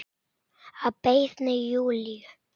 Að beiðni Júlíu.